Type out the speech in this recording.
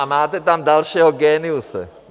A máte tam dalšího géniuse.